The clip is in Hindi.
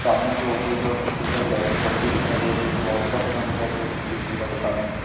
सामने के ऊपर की ओर कई सारी लाइटिंग जलती हुई दिखाई दे रही है रात का समय दिखाई दे रहा है संदीप लिखा है दुकान से--